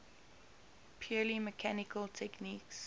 purely mechanical techniques